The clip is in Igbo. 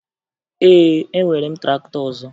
Ee, enwere m traktọ ọzọ